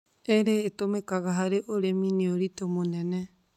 irĩ ĩtũmĩkaga harĩ ũrĩmi nĩ ũritũ mũnene.